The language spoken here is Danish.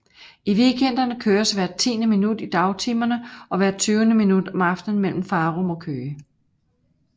I weekenderne køres hvert tiende minut i dagtimerne og hvert tyvende minut om aftenen mellem Farum og Køge